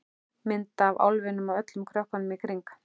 Mynd af álfinum og öllum krökkunum í kring.